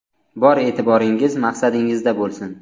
Bor e’tiboringiz maqsadingizda bo‘lsin.